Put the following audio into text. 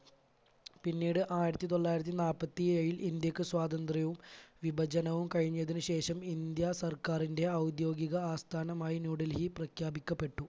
പിന്നീട് ആയിരത്തി തൊള്ളായിരത്തി നാൽപ്പത്തി ഏഴിൽ ഇന്ത്യയ്ക്ക് സ്വാതന്ത്ര്യവും വിഭജനവും കഴിഞ്ഞതിന് ശേഷം ഇന്ത്യ സർക്കാരിൻറെ ഔദ്യോഗിക ആസ്ഥാനമായി ന്യൂഡൽഹി പ്രഖ്യാപിക്കപ്പെട്ടു.